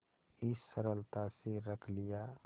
इस सरलता से रख लिया